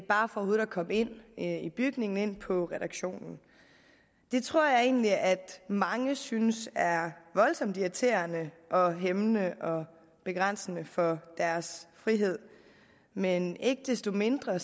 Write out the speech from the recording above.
komme ind i bygningen og ind på redaktionen det tror jeg egentlig at mange synes er voldsomt irriterende og hæmmende og begrænsende for deres frihed men ikke desto mindre